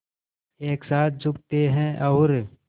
एक साथ झुकते हैं और